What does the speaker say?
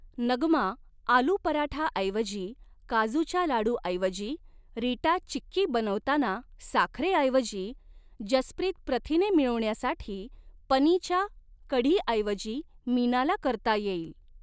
नगमा आलू पराठाऐवजी काजूच्या लाडूऐवजी रीटा चिक्की बनवताना साखरेऐवजी जसप्रीत प्रथिने मिळवण्यासाठी पनीच्या कढीऐवजी मीनाला करता येईल.